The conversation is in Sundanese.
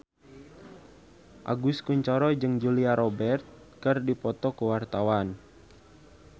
Agus Kuncoro jeung Julia Robert keur dipoto ku wartawan